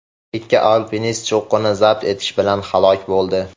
Ikki alpinist cho‘qqini zabt etishi bilan halok bo‘ldi.